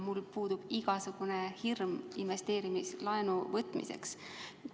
Mul puudub igasugune hirm investeerimislaenu võtmise ees.